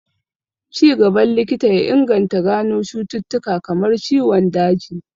Ci gaban likita ya inganta gano cututtuka kamar ciwon daji